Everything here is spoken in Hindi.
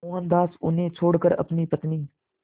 मोहनदास उन्हें छोड़कर अपनी पत्नी